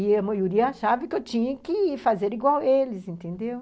E a maioria achava que eu tinha que fazer igual eles, entendeu?